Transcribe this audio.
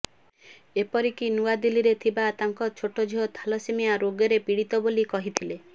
ଏପରିକି ନୂଆଦିଲ୍ଲୀରେ ଥିବା ତାଙ୍କ ଛୋଟ ଝିଅ ଥାଲାସେମିଆ ରୋଗରେ ପୀଡିତ ବୋଲି କହିଥିଲେ